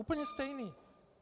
Úplně stejný!